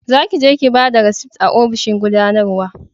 za ki je ki bada risit a ofishin gudanarwa